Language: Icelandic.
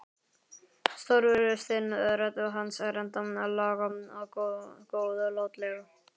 Stórfurstinn, rödd hans er ennþá lág og góðlátleg.